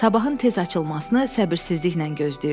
Sabahın tez açılmasını səbirsizliklə gözləyirdim.